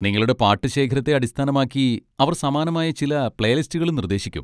നിങ്ങളുടെ പാട്ട് ശേഖരത്തെ അടിസ്ഥാനമാക്കി, അവർ സമാനമായ ചില പ്ലേലിസ്റ്റുകളും നിർദ്ദേശിക്കും.